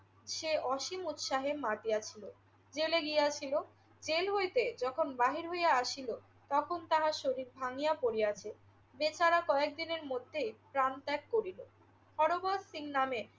সে অসীম উৎসাহে মাতিয়াছিল। জেলে গিয়াছিল। জেল হইতে যখন বাহির হইয়া আসিল তখন তাহার শরীর ভাঙিয়া পড়িয়াছে। বেচারা কয়েকদিনের মধ্যেই প্রাণ ত্যাগ করিল। হরবর সিং নামে